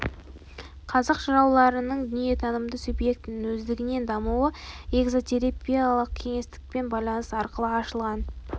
қазақ жырауларының дүниетанымында субъектінің өздігінен дамуы эзотериялық кеңістікпен байланыс арқылы ашылған